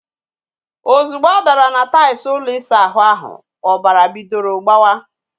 Ozugbo ọ dara na tails ụlọ isa ahụ ahu, ọbara bidoro gbawa